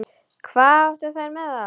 Hvað áttu þær með það?